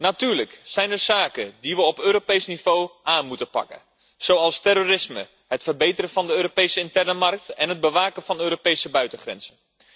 Natuurlijk zijn er zaken die we op Europees niveau moeten aanpakken, zoals terrorisme, het verbeteren van de Europese interne markt en het bewaken van de Europese buitengrenzen.